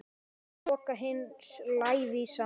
Loka hins lævísa.